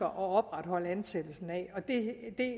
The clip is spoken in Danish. at opretholde ansættelsen af at